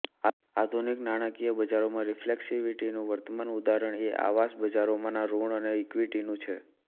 આધુનિક નાણાકીય બજારોમાં રિફલેક્સિવિટીનું વર્તમાન ઉદાહરણ એ આવાસ બજારોમાંના ૠણ અને ઈકિવટીનું છે